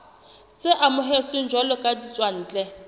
tse amohetsweng jwalo ka ditswantle